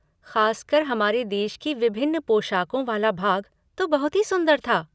ख़ासकर हमारे देश की विभिन्न पोशाकों वाला भाग तो बहुत ही सुंदर था।